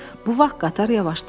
Bu vaxt qatar yavaşladı.